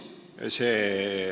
Aitüma!